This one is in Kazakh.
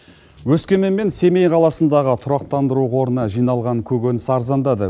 өскемен мен семей қаласындағы тұрақтандыру орнына жиналған көкөніс арзандады